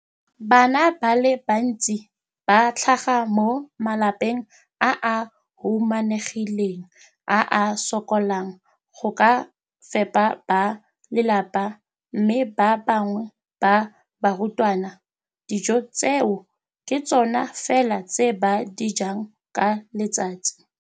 Bana ba le bantsi ba tlhaga mo malapeng a a humanegileng a a sokolang go ka fepa ba lelapa mme ba bangwe ba barutwana, dijo tseo ke tsona fela tse ba di jang ka letsatsi.